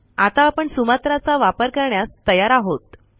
आता आपण सुमात्रा चा वापर करण्यास तयार आहोत